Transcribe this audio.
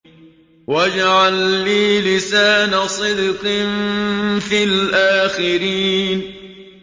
وَاجْعَل لِّي لِسَانَ صِدْقٍ فِي الْآخِرِينَ